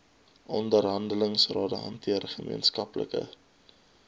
onderhandelingsrade hanteer gemeenskaplike